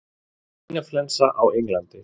Svínaflensa á Englandi